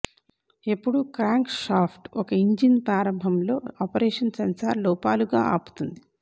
ఎప్పుడు crank shaft ఒక engine ప్రారంభం లో ఆపరేషన్ సెన్సార్ లోపాలుగా ఆపుతుంది